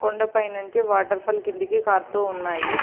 కొండా పైన నుంచి waterfall కిందకి కారుతూ ఉన్నాయి.